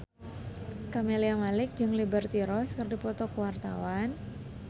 Camelia Malik jeung Liberty Ross keur dipoto ku wartawan